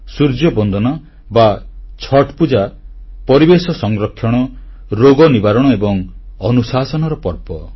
ସୂର୍ଯ୍ୟବନ୍ଦନା ବା ଛଠ୍ ପୂଜା ପରିବେଶ ସଂରକ୍ଷଣ ରୋଗ ନିବାରଣ ଏବଂ ଅନୁଶାସନର ପର୍ବ